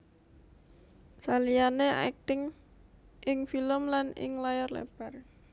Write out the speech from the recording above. Saliyane akting ing film lan ing layar lebar